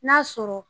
N'a sɔrɔ